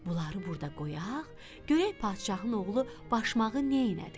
Bunları burda qoyaq, görək padşahın oğlu başmağı neylədi?